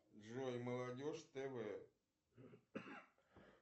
джой молодежь тв